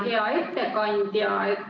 Hea ettekandja!